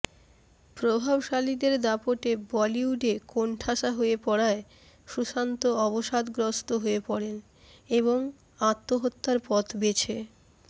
প্রভাবশালীদের দাপটে বলিউডে কোণঠাসা হয়ে পড়ায় সুশান্ত অবসাদগ্রস্ত হয়ে পড়েন এবং আত্মহত্যার পথ বেছে